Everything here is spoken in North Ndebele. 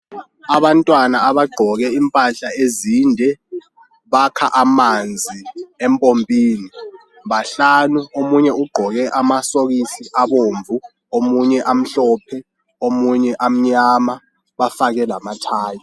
Abantwana abagqoke impahla ezinde ,bakha amanzi empompini, bahlanu. Omunye ugqoke amasokisi abomvu, omunye amhlophe omunye amnyama. Bafake lamathayi.